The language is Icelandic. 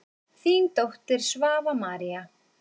Þín dóttir, Svava María.